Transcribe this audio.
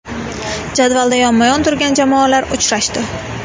Jadvalda yonma-yon turgan jamoalar uchrashdi.